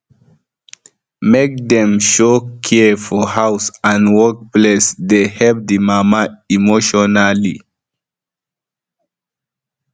make dem show care for house ad work place dey help the mama emotionally